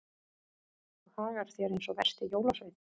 Þú hagar þér eins og versti jólasveinn.